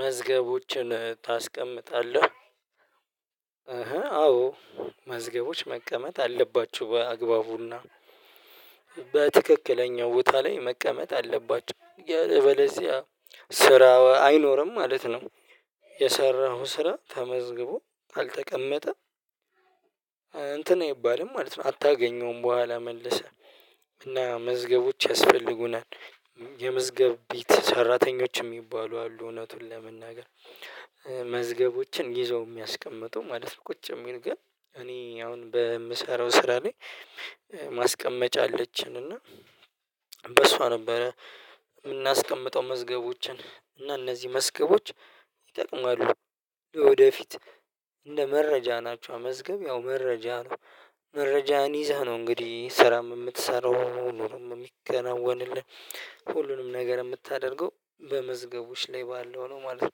መዝገቦችን ታስቀምጣለህ? አዎ መዝገቦች መቀመጥ አለባችሁ በአግባቡና በትክክለኛው ቦታ ላይ አለበዚያ ስራ አይኖርም ማለት ነው የሰራሁት ስራ ተመዝግቦ አልተቀመጠም እንትን አይባልም ማለት ነው አታገኘውም በኋላ መለሰ እና መዝገቦች ያስፈልጉናል የመዝገብ ቤት ሰራተኞች የሚባሉ አሉ እውነቱን ለመናገር መዝገቦችን ይዘው የሚያስቀምጠው ማለት ነው ቁጭ የሚል ግን እኔ አሁን በምሰራው ስራ ላይ ማስቀመጫ አለችን እና በሷ ነበረ የምናስቀምጠው መዝገቦችን እና እነዚህ መዝገቦች ይጠቅማሉ ወደፊት እንደ መረጃ ናቸው መዝገብ ያው መረጃ ነው መረጃን ይዛ ነው እንግዲህ ስራም የምትሰራው ነው ሁሉንም የሚከናወንልህ ሁሉንም ነገር የምታደርገው በመዝገቦች ላይ ባለው ነው ማለት ነው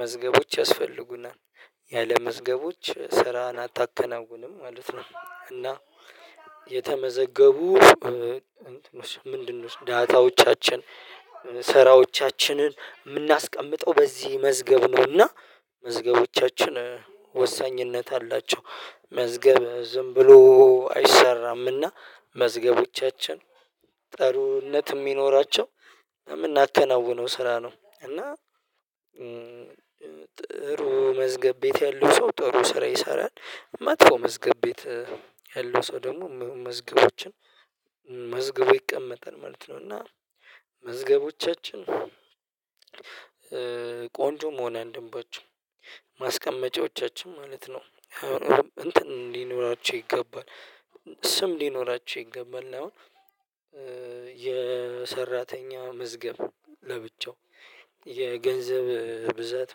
መዝገቦች ያስፈልጉናል ያለ መዝገቦች ስራን አታከናውንም ማለት ነው እና የተመዘገቡ ምንድን ዳታዎቻችን ሰራዎቻችንን የምናስቀምጠው በዚህ መዝገብ ነውና መዝገቦቻችን ወሳኝነት አላቸው መዝገብ ዝም ብሎ አይሰራም እና መዝገቦቻችን ጥሩነት የሚኖራቸው የምናከናውነው ስራ ነው እና ጥሩ መዝገብ ቤት ያለው ሰው ጥሩ ስራ ይሰራል መጥፎ መዝገብ ቤት ያለው ሰው ደግሞ መዝገቦችን መዝገቡ ይቀመጣል ማለት ነው እና መዝገቦቻችን ቆንጆም ሆነ እንደምቦቹ ማስቀመጫዎቻችን ማለት ነው እንትን እንዲኖራቸው ይገባል ስም እንዲኖራቸው ይገባል አሁን የሰራተኛ መዝገብ ለብቻው የገንዘብ ብዛት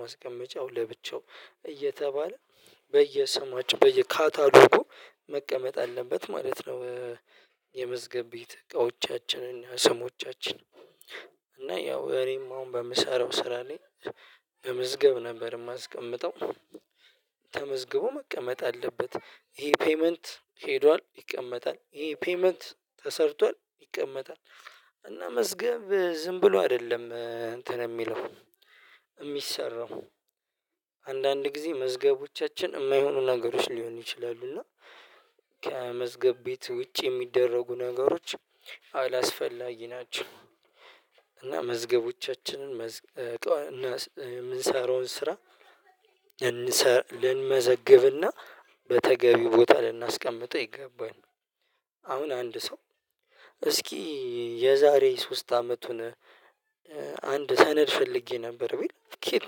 ማስቀመጫው ለብቻው እየተባለ በየሰማችን በየካታጨሎጎ መቀመጥ አለበት ማለት ነው የመዝገብ ቤት እቃዎቻችንን ስሞቻችንን እና ያው እነም አሁን በምሰራው ስራ ላይ በምዝገብ ነበር የማስቀምጠው ተመዝግቦ መቀመጥ አለበት ይሄ ፔይመንት ሄዷል ይቀመጣል ይሄ ፔይመንት ተሰርቷል ይቀመጣል እና መዝገብ ዝም ብሎ አይደለም እንትን የሚለው የሚሰራው አንዳንድ ጊዜ መዝገቦቻችን የማይሆኑ ነገሮች ሊሆን ይችላሉ እና ከመዝገብ ቤት ውጪ የሚደረጉ ነገሮች አላስፈላጊ ናቸው እና መዝገቦቻችንን መዝገብ እና የምንሰራውን ስራ እንመዘግብና በተገቢው ቦታ ልናስቀምጠው ይገባል። አሁን አንድ ሰው እስኪ የዛሬ ሶስት አመቱን አንድ ሰነድ ፈልጌ ነበር ብዬ ኬት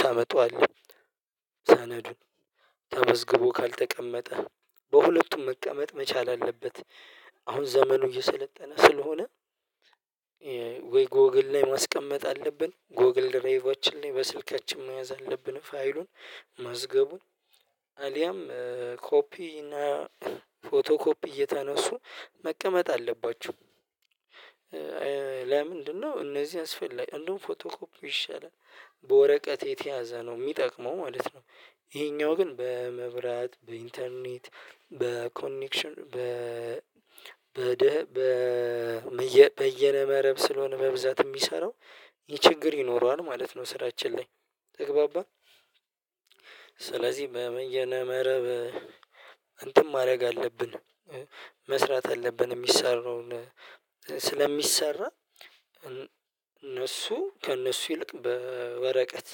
ታመጣዋለህ ሰነዱን ተመዝግቦ ካልተቀመጠ በሁለቱም መቀመጥ መቻል አለበት አሁን ዘመኑ እየሰለጠነ ስለሆነ ወይ ጎግል ላይ ማስቀመጥ አለብን ጎግል ድሬጎችን ላይ በስልካችን መያዝ አለብን ፋይሉን መዝገቡን አሊያም ኮፒ እና ፎቶ ኮፒ እየተነሱ መቀመጥ አለባችሁ ለምንድነው እነዚህ አስፈላጊ አንዱን ፎቶ ኮፕ ይሻላል፣ በወረቀት የተያዘ ነው የሚጠቅመው ማለት ነው ይሄኛው ግን በመብራት በኢንተርኔት በኮኔክሽን በ በይነ መረብ ስለሆነ መብዛት የሚሰራው ይችግር ይኖረዋል ማለት ነው ስራችን ላይ ተግባባን ስለዚህ በመንገድ መረብ እንትን ማድረግ አለብን መስራት አለብን የሚሰራውን ስለሚሰራ እነሱ ከእነሱ ይልቅ በወረቀት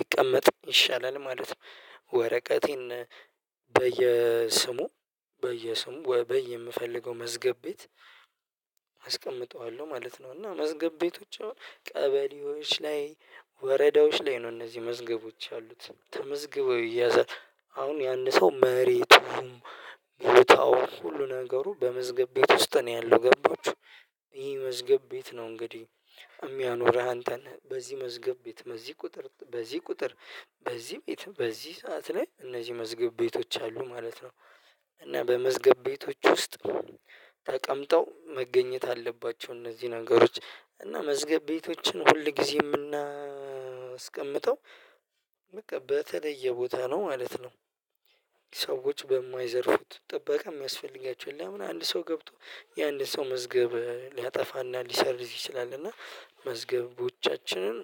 ይቀመጥ ይሻላል ማለት ነው። ወረቀቴን በየስሙ በየስሙ በየምፈልገው መዝገብ ቤት አስቀምጠዋለሁ ማለት ነው እና መዝገብ ቤቶች አሁን ቀበሌዎች ላይ ወረዳዎች ላይ ነው እነዚህ መዝገቦች ያሉት ተመዝግበው እየያዘ አሁን ያንን ሰው መሬቱም ቦታውም ሁሉ ነገሩ በመዝገብ ቤት ውስጥ ነው ያለው ገባችሁ ይሄ መዝገብ ቤት ነው እንግዲህ የሚያኖርህ አንተን በዚህ መዝገብ ቤት በዚህ ቁጥር በዚህ ቁጥር በዚህ ቤት በዚህ ሰዓት ላይ እነዚህ መዝገብ ቤቶች አሉ ማለት ነው እና በመዝገብ ቤቶች ውስጥ ተቀምጠው መገኘት አለባቸው። እነዚህ ነገሮች እና መዝገብ ቤቶችን ሁል ጊዜ የምናስቀምጠው በቃ በተለየ ቦታ ነው ማለት ነው ሰዎች በማይዘርፉት ጥበቃ የሚያስፈልጋቸውን ለምን አንድ ሰው ገብቶ የአንድ ሰው መዝገብ ሊያጠፋና ሊሰርዝ ይችላል እና መዝገቦቻችንን